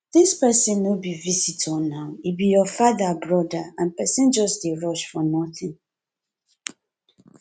dis person no be visitor naa e be your father broda and person just dey rush for nothing